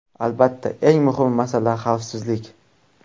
Albatta, eng muhim masala xavfsizlik.